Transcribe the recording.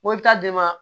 Mobili ta d'i ma